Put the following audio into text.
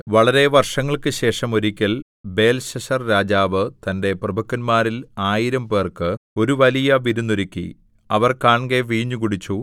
വളരെ വര്‍ഷങ്ങള്‍ക്കു ശേഷം ഒരിക്കല്‍ ബേൽശസ്സർരാജാവ് തന്റെ പ്രഭുക്കന്മാരിൽ ആയിരംപേർക്ക് ഒരു വലിയ വിരുന്നൊരുക്കി അവർ കാൺകെ വീഞ്ഞു കുടിച്ചു